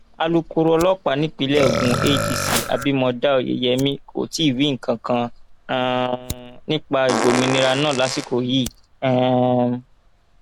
alūkkóró ọlọpàá nípìnlẹ ogun adc abimodá oyeyèmí kò tí ì wí nǹkan kan um nípa ìgbòmìnira náà lásìkò yìí um